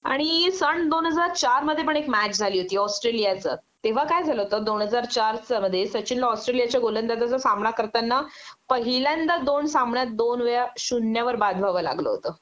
आणि सन दोनहजार चार मध्ये पण एक मॅच झाली होती ऑस्ट्रेलिया च तेंव्हा काय झालं होत दोन हजार चार च मध्ये सचिनला औट्रेलियाच्या गोलांजाचा सामना करताना पहिल्यांदा दोन सामन्यात दोन वेळा शून्यावर बाद व्हावं लागलं होत